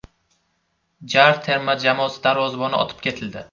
JAR terma jamoasi darvozaboni otib ketildi.